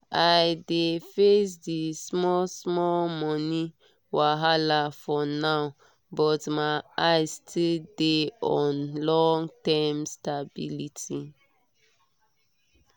i dey face the small-small money wahala for now but my eyes still dey on long-term stability.